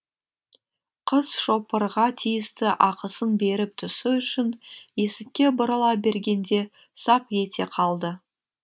қыз шопырға тиісті ақысын беріп түсу үшін есікке бұрыла бергенде сап ете қалды